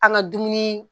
An ka dumuni